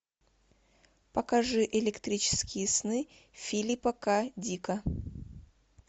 покажи электрические сны филипа к дика